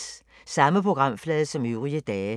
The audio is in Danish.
Samme programflade som øvrige dage